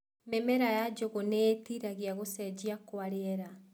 Mĩmera ya njũgũ nĩitiragia gũcenjia kwa rĩera.